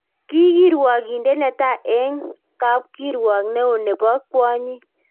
Ki kirwogindet netai eng kapkirwok neo nebo kwonyik